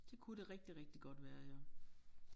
Det kunne det rigtig rigtig godt være ja